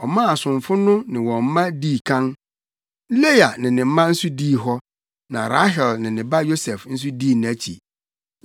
Ɔmaa asomfo no ne wɔn mma dii kan. Lea ne ne mma nso dii hɔ; na Rahel ne ne ba Yosef nso dii akyi.